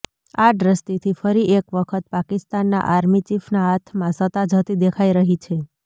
આ દ્રષ્ટિથી ફરીએકવખત પાકિસ્તાનના આર્મી ચીફના હાથમાં સત્તા જતી દેખાય રહી છે